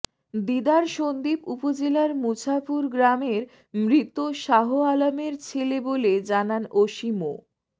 দিদার সন্দ্বীপ উপজেলার মুছাপুর গ্রামের মৃত শাহআলমের ছেলে বলে জানান ওসি মো